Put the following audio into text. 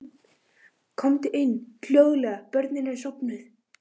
Komdu inn- hljóðlega- börnin eru sofnuð.